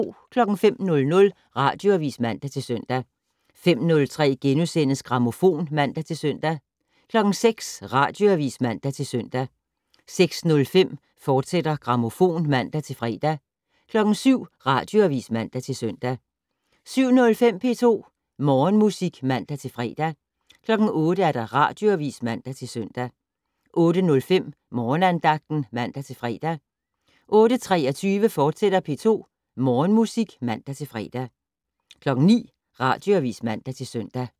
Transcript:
05:00: Radioavis (man-søn) 05:03: Grammofon *(man-søn) 06:00: Radioavis (man-søn) 06:05: Grammofon, fortsat (man-fre) 07:00: Radioavis (man-søn) 07:05: P2 Morgenmusik (man-fre) 08:00: Radioavis (man-søn) 08:05: Morgenandagten (man-fre) 08:23: P2 Morgenmusik, fortsat (man-fre) 09:00: Radioavis (man-søn)